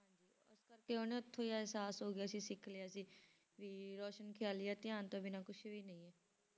ਇਸ ਕਰਕੇ ਉਹਨੂੰ ਇੱਥੋਂ ਇਹ ਇਹਸਾਸ ਹੋ ਗਿਆ ਸੀ ਸਿੱਖ ਲਿਆ ਸੀ ਵੀ ਰੋਸ਼ਨ ਖ਼ਿਆਲੀ ਆ ਧਿਆਨ ਤੋਂ ਬਿਨਾਂ ਕੁਛ ਵੀ ਨਹੀਂ ਹੈ।